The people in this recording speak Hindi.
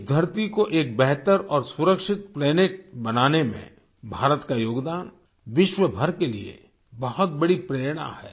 इस धरती को एक बेहतर और सुरक्षित प्लैनेट बनाने में भारत का योगदान विश्व भर के लिए बहुत बड़ी प्रेरणा है